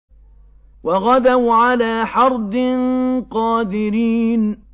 وَغَدَوْا عَلَىٰ حَرْدٍ قَادِرِينَ